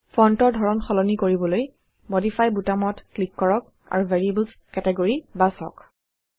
ফন্টৰ ধৰণ সলনি কৰিবলৈ মডিফাই বুটামত ক্লিক কৰক আৰু ভেৰিয়েবলছ কেতিগৰি বাচক